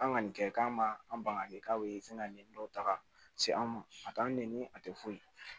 An ka nin kɛ k'an ma an ban ka kɛ k'a bɛ fɛn nin dɔw ta ka se an ma a t'an nɛni a tɛ foyi